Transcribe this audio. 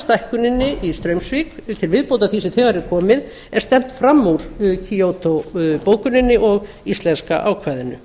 stækkuninni í straumsvík til viðbótar því sem þegar er komið er stefnt fram úr kyoto bókuninni og íslenska ákvæðinu